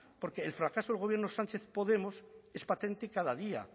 porque el fracaso del gobierno sánchez podemos es patente cada día